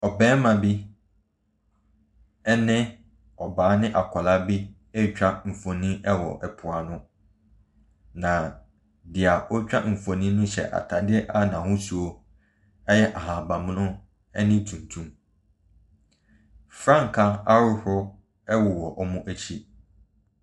Ɔbarima bi ne ɔbaa bi ne akwadaa bi ɛretwa mfonin wɔ po ano, na deɛ orutwa mfonin no hyɛ ataadeɛ a n’ahosuo yɛ ahabanmono ne tuntum. Frankaa ahodoɔ wɔ wɔn akyi.